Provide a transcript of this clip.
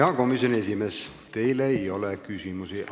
Hea komisjoni esimees, teile ei ole küsimusi.